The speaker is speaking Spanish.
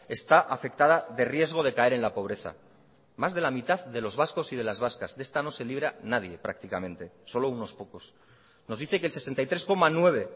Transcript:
está afectada de riesgo de caer en la pobreza más de la mitad de los vascos y de las vascas de esta no se libra nadie prácticamente solo unos pocos nos dice que el sesenta y tres coma nueve